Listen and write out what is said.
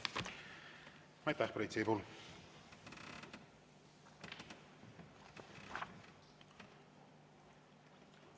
Aitäh, Priit Sibul!